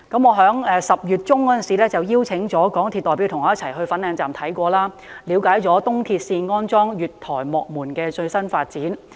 我在10月中曾邀請港鐵公司代表和我一起前往粉嶺站視察，了解東鐵線安裝月台幕門的最新發展。